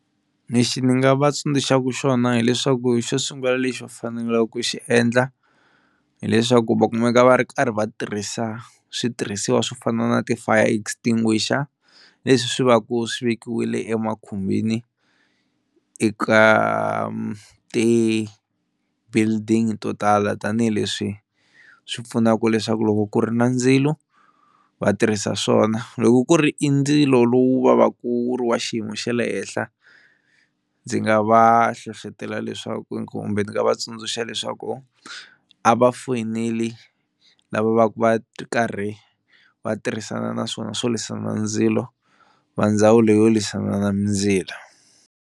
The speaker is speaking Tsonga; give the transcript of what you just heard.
Lexi ni nga va tsundzuxaka xona hileswaku xo sungula lexi va fanelaka ku xi endla hileswaku va kumeka va ri karhi va tirhisa switirhisiwa swo fana na ti fire extinguisher leswi swi va ku swi vekiwile e makhumbini eka ti-building to tala tanihileswi swi pfunaka leswaku loko ku ri na ndzilo va tirhisa swona, loko ku ri i ndzilo lowu va va ku wu ri wa xiyimo xa le henhla ndzi nga va hlohlotela leswaku kumbe ndzi nga va tsundzuxa leswaku a va foyineli lava va va ku karhi va tirhisana na swona swo lwisana ndzilo va ndzawulo yo lwisana na mindzilo.